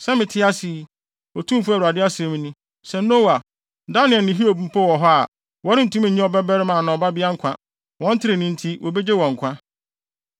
sɛ mete ase yi, Otumfo Awurade asɛm ni, sɛ Noa, Daniel ne Hiob mpo wɔ hɔ a, wɔrentumi nnye ɔbabarima anaa ɔbabea nkwa. Wɔn trenee nti wobegye wɔn nkwa.